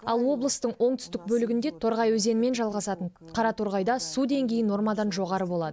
ал облыстың оңтүстік бөлігінде торғай өзенімен жалғасатын қараторғайда су деңгейі нормадан жоғары болады